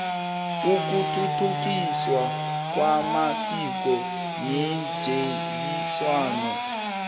ukuthuthukiswa kwamasiko netjhebiswano